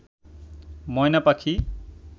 ময়না পাখি